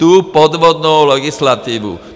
Tu podvodnou legislativu.